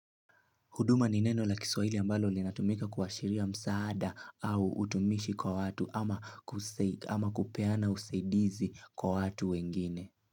Huduma ni neno la kiswahili ambalo linatumika kuashiria msaada au utumishi kwa watu ama kuseid ama kupeana usaidizi kwa watu wengine.